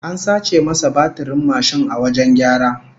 An sace masa batirin mashin a wajen gyara